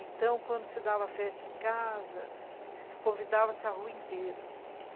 Então, quando se dava festa em casa, convidava-se a rua inteira.